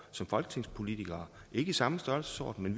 som folketingspolitikere faktisk ikke i samme størrelsesorden